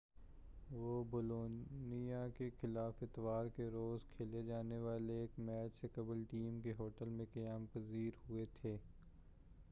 وہ بولونیا کے خلاف اتوار کے روز کھیلے جانے والے ایک میچ سے قبل ٹیم کے ہوٹل میں قیام پذیر ہوئے تھے